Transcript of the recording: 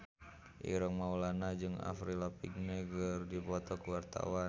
Ireng Maulana jeung Avril Lavigne keur dipoto ku wartawan